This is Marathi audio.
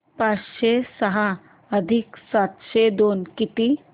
पाचशे सहा अधिक सातशे दोन किती